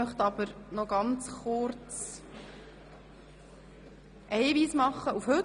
Ich möchte kurz einen Hinweis zum heutigen Tag geben.